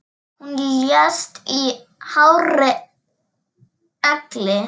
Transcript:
Hún lést í hárri elli.